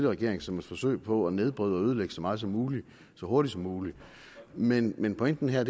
regering som et forsøg på at nedbryde og ødelægge så meget som muligt så hurtigt som muligt men men pointen her